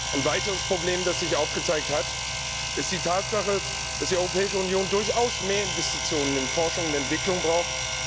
Ein weiteres Problem, das sich gezeigt hat, ist die Tatsache, dass die Europäische Union durchaus mehr Investitionen in Forschung und Entwicklung braucht.